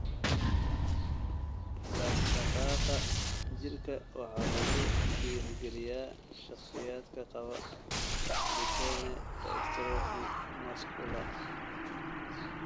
Dhaqdhaqaaqa jirka waxaa lagu dhiirigeliyaa shakhsiyaadka qaba Duchenne dystrophy muscular.